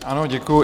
Ano, děkuji.